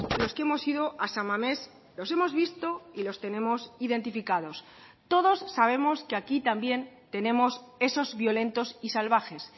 los que hemos ido a san mamés los hemos visto y los tenemos identificados todos sabemos que aquí también tenemos esos violentos y salvajes